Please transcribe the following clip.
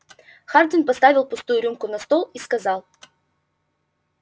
хардин поставил пустую рюмку на стол и сказал